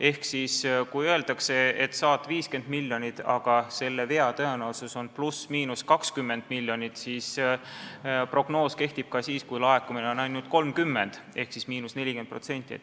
Ehk kui öeldakse, et sa saad 50 miljonit, aga vea tõenäosus on ±20 miljonit, siis prognoos kehtib ka siis, kui laekumine on ainult 30 miljonit ehk –40%.